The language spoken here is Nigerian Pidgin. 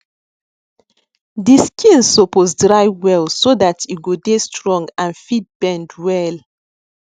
de skin suppose dry well so that e go dey strong and fit bend well